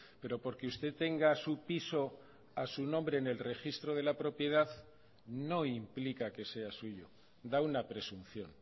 pero porque usted tenga su piso a su nombre en el registro de la propiedad no implica que sea suyo da una presunción